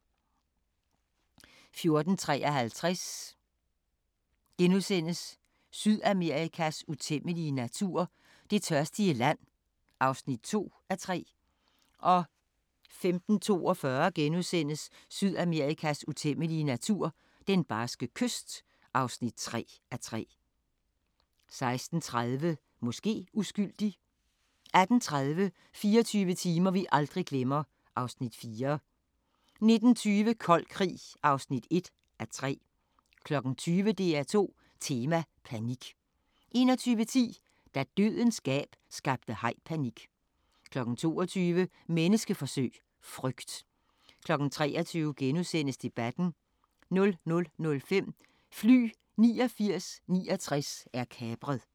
14:53: Sydamerikas utæmmelige natur – Det tørstige land (2:3)* 15:42: Sydamerikas utæmmelige natur – Den barske kyst (3:3)* 16:30: Måske uskyldig 18:30: 24 timer vi aldrig glemmer (Afs. 4) 19:20: Kold krig (1:3) 20:00: DR2 Tema: Panik 21:10: Da "Dødens gab" skabte haj-panik 22:00: Menneskeforsøg – Frygt 23:00: Debatten * 00:05: Fly 8969 er kapret